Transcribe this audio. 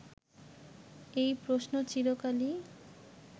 এই প্রশ্ন চিরকালই